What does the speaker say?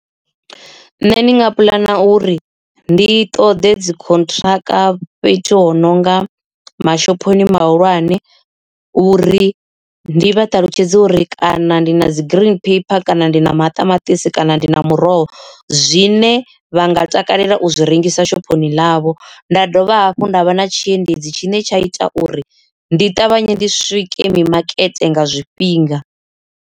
Nṋe ndi nga puḽana uri ndi ṱoḓe dzi contract fhethu ho nonga mashophoni mahulwane uri ndi vha ṱalutshedze uri kana ndi na dzi green paper kana ndi na maṱamaṱisi kana hone ndi na muroho zwine vha nga takalela u zwi rengisa shophoni ḽavho nda dovha hafhu nda vha na tshiendedzi tshine tsha ita uri ndi ṱavhanye ndi swike mimakete nga zwifhinga.